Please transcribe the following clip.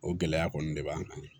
O gɛlɛya kɔni de b'an kan